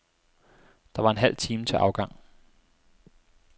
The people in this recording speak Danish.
Der var en halv time til afgang.